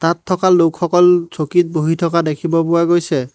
তাত থকা লোকসকল চকীত বহি থকা দেখিব পোৱা গৈছে।